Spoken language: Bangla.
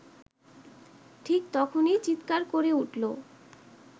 ঠিক তখনই চিত্কার করে উঠল